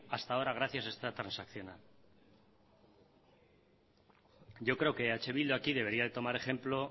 hasta ahora gracias a esta transaccional yo creo que eh bildu aquí debería tomar ejemplo